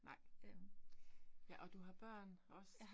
Nej. Ja, og du har børn også?